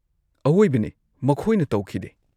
-ꯑꯋꯣꯢꯕꯅꯦ ꯃꯈꯣꯏꯅ ꯇꯧꯈꯤꯗꯦ꯫